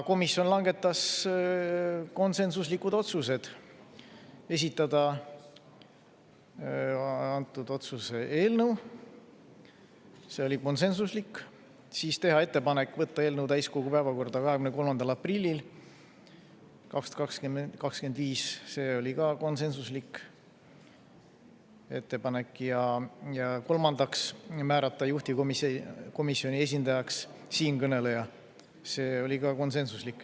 Komisjon langetas konsensuslikud otsused: esitada antud otsuse eelnõu, see oli konsensuslik, siis teha ettepanek võtta eelnõu täiskogu päevakorda 23. aprillil 2025, see oli ka konsensuslik ettepanek, ja kolmandaks määrata juhtivkomisjoni esindajaks siinkõneleja, see oli ka konsensuslik.